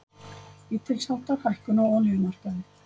Lítilsháttar hækkun á olíumarkaði